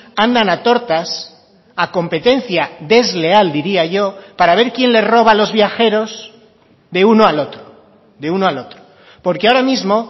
andan a tortas a competencia desleal diría yo para ver quién le roba los viajeros de uno al otro de uno al otro porque ahora mismo